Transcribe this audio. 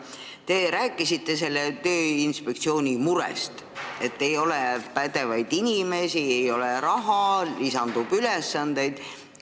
Te rääkisite sellest Tööinspektsiooni murest, et ei ole pädevaid inimesi, ei ole raha, lisandub ülesandeid.